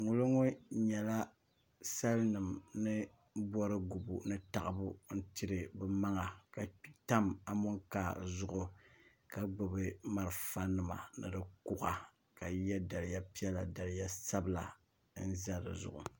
ŋoliŋo nyɛla sal nim ni bori gubu ni taɣabu n tiri bi maŋa ka tam amokaa zuɣu ka gbubi marafa nima ni di kuɣa ka bi yɛ daliya piɛla daliya sabila n ʒɛ dizuɣu